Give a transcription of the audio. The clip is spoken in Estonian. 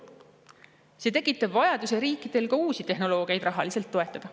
See tekitab vajaduse riikidel ka uusi tehnoloogiaid rahaliselt toetada.